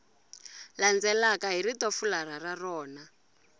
landzelaka hi ritofularha ra rona